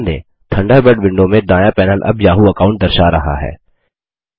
ध्यान दें Thunderbird window में दायाँ पैनल अब याहू अकाउंट दर्शा रहा है